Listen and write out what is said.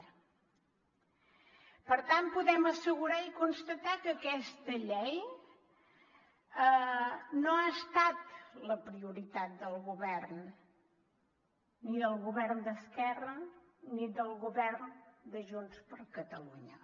per tant podem assegurar i constatar que aquesta llei no ha estat la prioritat del govern ni del govern d’esquerra ni del govern de junts per catalunya